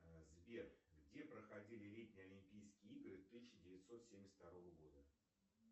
сбер где проходили летние олимпийские игры тысяча девятьсот семьдесят второго года